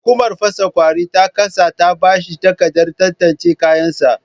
Hukumar fasa kwauri ta ƙasa ta bashi takarda tantance kayan sa